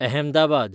Ahmedabad